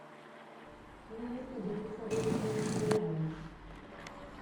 на ютубе посоветуй мне сериалы